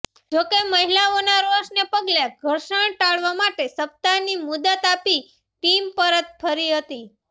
જોકે મહિલાઓના રોષને પગલે ઘર્ષણ ટાળવા માટે સપ્તાહની મુદત આપી ટીમ પરત ફરી હતી